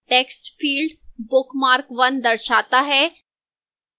text field bookmark 1 दर्शाता है